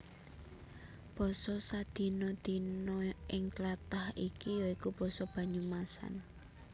Basa sadina dina ing tlatah iki ya iku basa Banyumasan